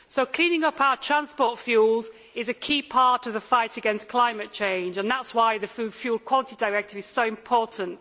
Cleaning up our transport fuels is a key part of the fight against climate change and that is why the Fuel Quality Directive is so important.